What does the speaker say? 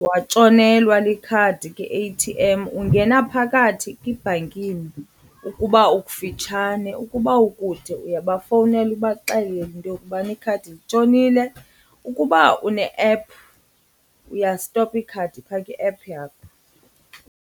Watshonelwa likhadi kwi-A_T_M, ungena phakathi kwibhankini ukuba ukufitshane. Ukuba ukude uyabafowunela ubaxelele into yokubana ikhadi litshonile. Ukuba une-app uyastopa ikhadi phaa kwi-app yakho.